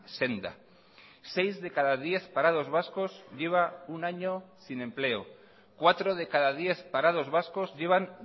senda seis de cada diez parados vascos lleva un año sin empleo cuatro de cada diez parados vascos llevan